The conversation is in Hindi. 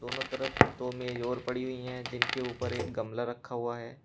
दोनों तरफ दो मेज और पड़ी हुई है जिनके ऊपर एक गमला रखा हुआ है।